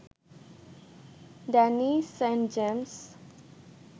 Danny Saint James